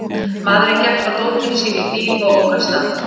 Maðurinn gekk frá dótinu sínu í bíl og ók af stað.